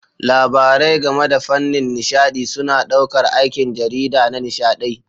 Labarai game da fannin nishaɗi suna ɗaukar aikin jarida na nishaɗi.